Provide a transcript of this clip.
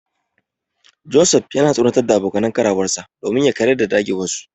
Joseph yana tsoratar da abokan karawarsa domin ya karyar da dagewarsu.